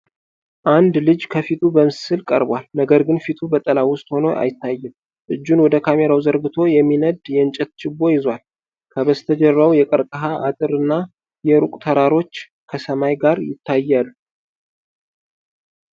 አንድ ልጅ ከፊቱ በምስል ቀርቧል፣ ነገር ግን ፊቱ በጥላ ውስጥ ሆኖ አይታይም። እጁን ወደ ካሜራው ዘርግቶ የሚነድ የእንጨት ችቦ ይዟል። ከበስተጀርባው የቀርከሃ አጥር እና የሩቅ ተራሮች ከሰማይ ጋር ይታያሉ።